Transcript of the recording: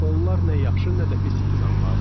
Onlar nə yaxşı, nə də pis insanlardır.